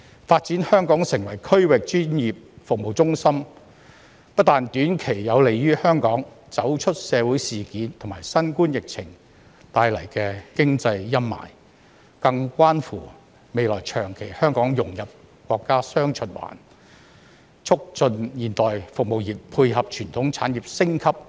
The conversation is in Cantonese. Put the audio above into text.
發展香港成為區域專業服務中心，不但短期有利於香港走出社會事件和新冠疫情帶來的經濟陰霾，更關乎未來長期香港融入國家"雙循環"，促進現代服務業配合傳統產業升級及便利新興產業。